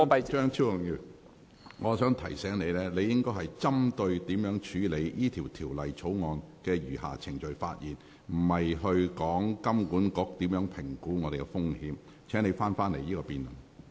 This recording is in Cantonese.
張超雄議員，我想提醒你，你應該針對如何處理《條例草案》的餘下程序發言，而不是談論金管局如何評估本港的風險。